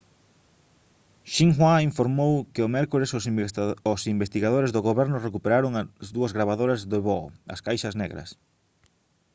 xinhua informou que o mércores os investigadores do goberno recuperaron as dúas gravadoras de voo: as «caixas negras»